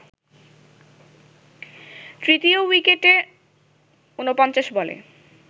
তৃতীয় উইকেটে ৪৯ বলে